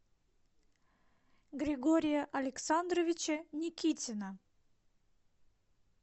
григория александровича никитина